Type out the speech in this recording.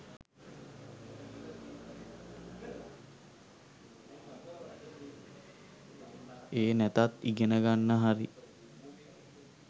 ඒ නැතත් ඉගෙන ගන්න හරි